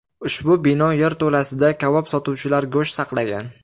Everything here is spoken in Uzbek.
Ushbu bino yerto‘lasida kabob sotuvchilar go‘sht saqlagan.